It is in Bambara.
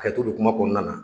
Kɛto be kuma kɔnɔna na